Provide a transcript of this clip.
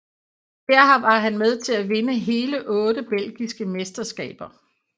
Her var han med til at vinde hele otte belgiske mesterskaber